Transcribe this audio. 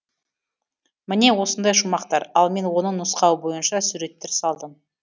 міне осындай шумақтар ал мен оның нұсқауы бойынша суреттер салдым